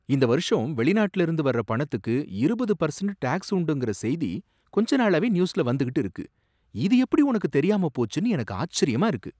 இந்த வருஷம் வெளிநாட்டில இருந்து வர்ற பணத்துக்கு இருபது பெர்சன்ட் டேக்ஸ் உண்டுங்கிற செய்தி கொஞ்ச நாளாவே நியூஸ்ல வந்துக்கிட்டு இருக்கு. இது எப்படி உனக்குத் தெரியாமப் போச்சுன்னு எனக்கு ஆச்சரியமா இருக்கு.